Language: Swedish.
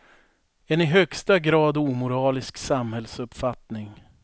En i högsta grad omoralisk samhällsuppfattning.